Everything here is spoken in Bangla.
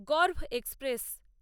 গর্ভ এক্সপ্রেস